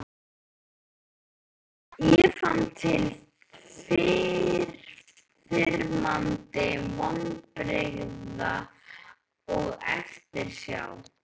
Ég fann til yfirþyrmandi vonbrigða og eftirsjár.